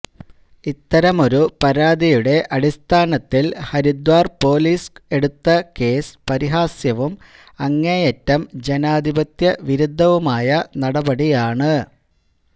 ഇത്തരമൊരു പരാതിയുടെ അടിസ്ഥാനത്തില് ഹരിദ്വാര് പോലീസ് എടുത്ത കേസ് പരിഹാസ്യവും അങ്ങേയറ്റം ജനാധിപത്യവിരുദ്ധവുമായ നടപടിയാണ്